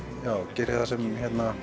geri það sem